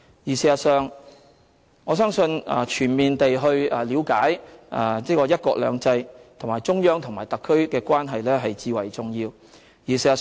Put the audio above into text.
事實上，我相信全面地了解"一國兩制"，以及中央和特區的關係至為重要。